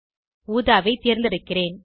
ஊதாவை தேர்ந்தெடுக்கிறேன்